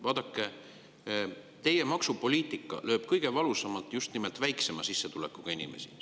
Vaadake, teie maksupoliitika lööb kõige valusamalt just nimelt väiksema sissetulekuga inimeste pihta.